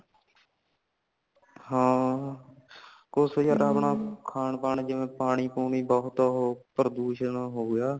ਹਾਂ ਕੁੱਛ ਨਹੀਂ ਯਾਰ ਆਪਣਾ ਖਾਨ ਪਾਨ ਜਿਵੇਂ ਪਾਣੀ ਪੁਨੀ ਬਹੁਤ ਪਰਦੂਸ਼ਣ ਹੋ ਗਯਾ